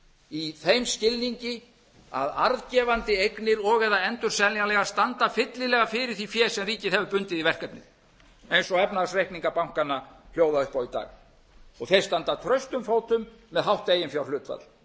í þeim skilningi að arðgefandi eignir og eða endurseljanlegar standa fyllilega fyrir því fé sem ríkið hefur bundið í verkefnið eins og efnahagsreikningar bankanna hljóða upp á í dag þeir standa traustum fótum með hátt eiginfjárhlutfall